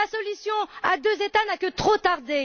La solution à deux États n'a que trop tardé.